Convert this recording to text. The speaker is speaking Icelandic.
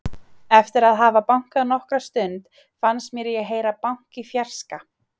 Eftir að hafa bankað nokkra stund fannst mér ég heyra bank í fjarska.